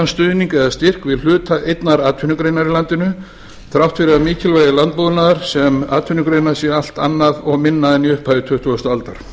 styrk eða stuðning við hluta einnar atvinnugreinar í landinu þrátt fyrr að mikilvægi landbúnaðar sem atvinnugreinar sé allt annað og minna en í upphafi tuttugustu aldar